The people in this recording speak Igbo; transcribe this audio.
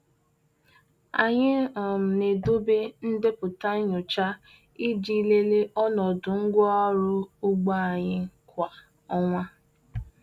Anyị um na-edobe ndepụta nyocha iji lelee ọnọdụ ngwaọrụ ugbo anyị kwa ọnwa.